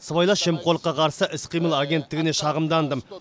сыбайлас жемқорлыққа қарсы іс қимыл агенттігіне шағымдандым